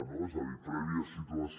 no és a dir prèvia situació